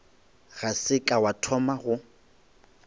ga se ka thoma go